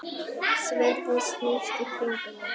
Sverðið snýst í kringum mig.